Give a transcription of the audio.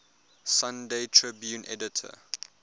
sunday tribune editor